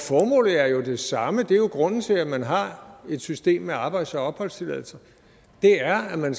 formålet er jo det samme grunden til at man har et system med arbejds og opholdstilladelse er at man